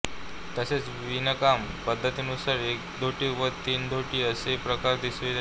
तसेच विणकाम पद्धतीनुसार एकधोटी व तीन धोटी असेही प्रकार दिसून येतात